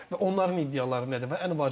Onların iddiaları nədir və ən vacib məsələ.